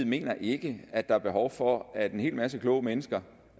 mener ikke at der er behov for at en hel masse kloge mennesker